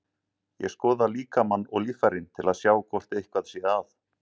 Ég skoða líkamann og líffærin til að sjá hvort eitthvað sé að.